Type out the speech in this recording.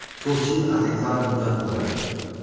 To‘rt yil adekvat muddat bo‘lar edi.